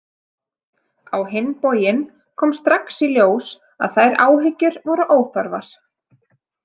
Á hinn bóginn kom strax í ljós að þær áhyggjur voru óþarfar.